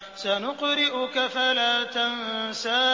سَنُقْرِئُكَ فَلَا تَنسَىٰ